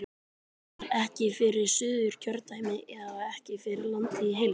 Gunnar: Ekki fyrir Suðurkjördæmi eða ekki fyrir landið í heild?